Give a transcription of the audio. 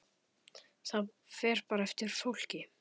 Það fer bara eftir fólki.